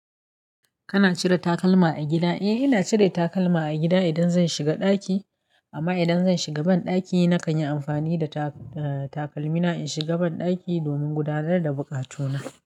Kana cire takalma a gida? Eh, ina cire takalma a gida idan zan shiga ɗaki. Amma idan zan shiga banɗaki nakan yi amfani da ta-takalmina in shiga banɗaki domin gudanar da buƙatuna.